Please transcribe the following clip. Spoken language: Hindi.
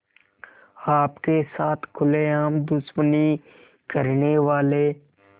आपके साथ खुलेआम दुश्मनी करने वाले